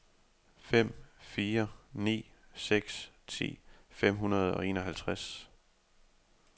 fem fire ni seks ti fem hundrede og enoghalvtreds